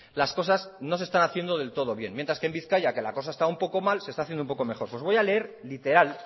las cosas no se están haciendo del todo bien mientras que en bizkaia que la cosa está un poco mal se está haciendo un poco mejor pues voy a leer literal